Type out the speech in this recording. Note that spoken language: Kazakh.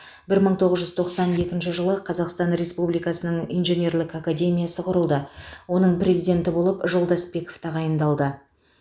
бір мың тоғыз жүз тоқсан екінші жылы қазақстан республикасының инженерлік академиясы құрылды оның президенті болып жолдасбеков тағайындалды